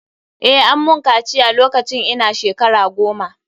Eh, ammun kaciya lokacin ina shkara goma.